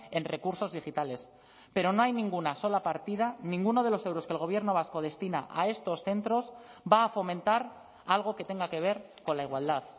en recursos digitales pero no hay ninguna sola partida ninguno de los euros que el gobierno vasco destina a estos centros va a fomentar algo que tenga que ver con la igualdad